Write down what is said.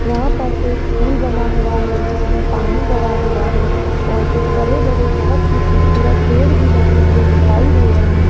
यहां पर एक पूल बना हुआ है जिसमें पानी भरा हुआ है और कुछ बड़े बड़े बहुत ही खूबसूरत पेड़ भी लगे हुए दिखाई दे रहे --